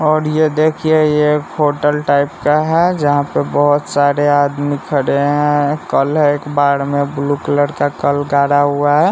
और यह देखिए ये एक होटल टाइप का है जहां पे बहोत सारे आदमी खड़े है कल है एक बाड में एक ब्लू कलर का कल गाड़ा हुआ है।